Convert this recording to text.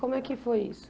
Como é que foi isso?